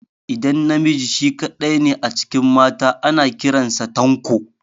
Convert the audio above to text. Idan namiji shi kaɗai ne a cikin mata, ana kiran sa Tanko.